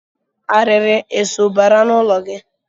Arịrị eso bara n'ụlọ gị.